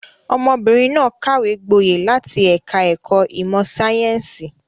Ọmọbìnrin náà kàwé gboyè láti ẹ̀ka-ẹ̀kọ́ ìmọ̀-sáyẹ́ńsì.